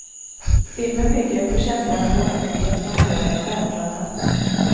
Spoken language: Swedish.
Filmen bygger på känslan av oändlighet man får en stjärnklar natt.